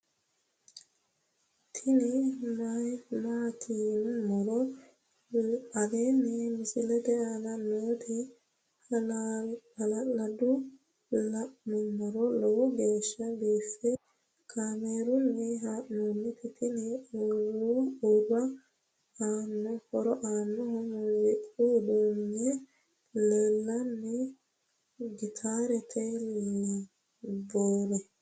tini maati yinummoro aleenni misilete aana nooti hala'ladunni la'nummoro lowo geeshsha biiffe kaamerunni haa'nooniti tini huuro aannohu muziiqu uduunni leellannoe gitaareoo lambori